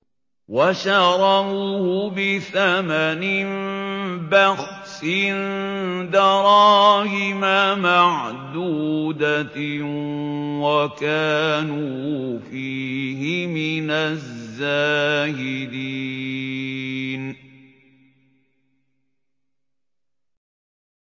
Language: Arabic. وَشَرَوْهُ بِثَمَنٍ بَخْسٍ دَرَاهِمَ مَعْدُودَةٍ وَكَانُوا فِيهِ مِنَ الزَّاهِدِينَ